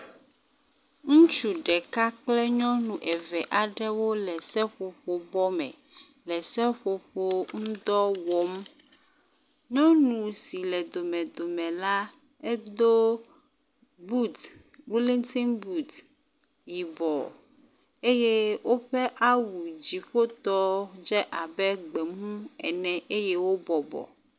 Ŋutsu ɖeka kple nyɔnu eve aɖewo le seƒoƒo bɔ me le seƒoƒo ŋdɔ wɔm. Nyɔnu si le domedome la edo buti, woliŋti buti yibɔ eye woƒe awu dziƒotɔ dze abe gbemu ene eye wobɔbɔ